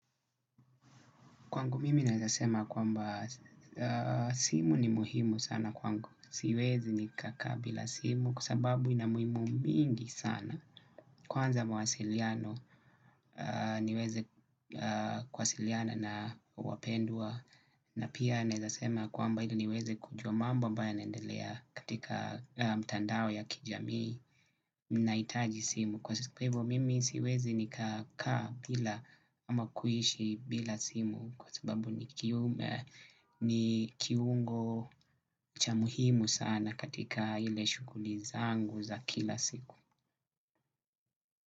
Kwangu mimi naeza sema kwamba simu ni muhimu sana kwangu siwezi nikakaa bila simu kwa sababu inamuhimu mingi sana kwanza mawasiliano niweze kuwasiliana na wapendwa na pia naeza sema kwamba ili niweze kujua mambo ambayo yanaendelea katika mtandao ya kijamii nahitaji simu. Kwa siku pevo mimi siwezi nikakaa bila ama kuishi bila simu kwa sababu ni kiungo cha muhimu sana katika ile shughuli zangu za kila siku.